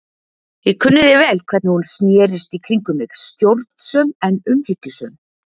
Ég kunni því vel hvernig hún snerist í kringum mig, stjórnsöm en umhyggjusöm.